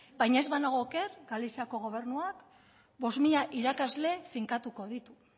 baina ez banago oker galiziako gobernuak bost mila irakasle finkatuko ditu